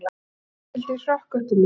Ragnhildi, hrökk upp úr mér.